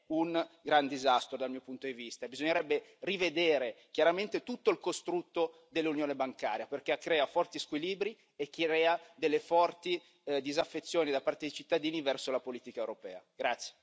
Ecco quello che si sta facendo è un gran disastro dal mio punto di vista, bisognerebbe rivedere chiaramente tutto il costrutto dell'Unione bancaria, perché crea forti squilibri e crea delle forti disaffezioni da parte dei cittadini verso la politica europea.